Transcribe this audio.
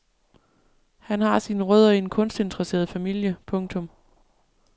Han har sine rødder i en kunstinteresseret familie. punktum